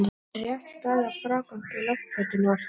Er rétt staðið að frágangi loftplötunnar?